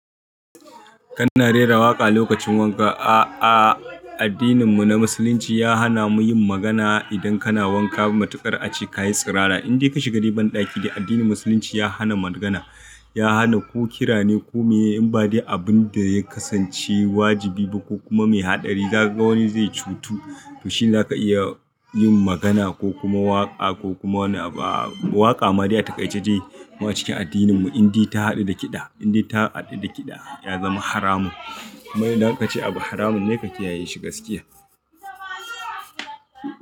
Kana rera waƙa lokacin wanka. A addinin mu na musulunci ya hana muyin magana idan kana wanka. Matuƙar ace kayi sirara. In dai ka shiga daiban ɗaki dai addinin musulunci ya hana magana, ya hana ko kira ne ko meye. In ba dai abun da ya kasance wajibi ko kuma mai haɗari, gaba wani zai cutu. To shi zaka iya yin magana ko kuma waƙa ko kuma wani abu. Waƙa ma dai a takaice dai waccan cikin addinin mu in dai ta haɗu da kiɗa, in dai ta haɗu da kiɗa ya zama haramun. Kuma idan aka ce abu haramun ne kaki yayi shi gaskiya.